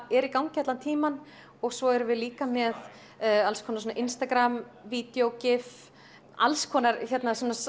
er í gangi allan tímann og svo erum við líka með alls konar svona Instagramvídjó gif alls konar svona